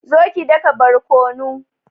zo ki daka barkonu